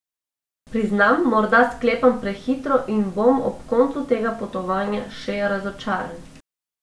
Priznam, morda sklepam prehitro in bom ob koncu tega potovanja še razočaran.